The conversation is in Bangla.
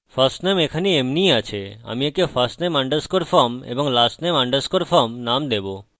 আমাদের কাছে firstname আছে এবং এখানে এমনিই আছে আমি একে firstname underscore form এবং lastname underscore form নাম দেবো